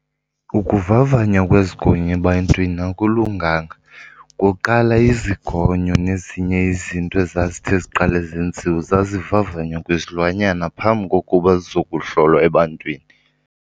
Ukuvavanywa kwezigonyo ebantwini akulunganga. Kuqala izigonyo nezinye izinto ezazithi ziqale zenziwe zazivavanywa kwizilwanyana phambi kokuba zizokuhlolwa ebantwini.